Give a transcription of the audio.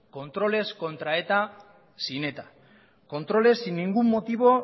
controles contra eta sin eta controles sin ningún motivo